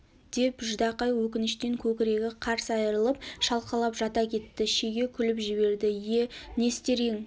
деп ждақай өкініштен көкірегі қарс айрылып шалқалап жата кетті шеге күліп жіберді ие не істер ең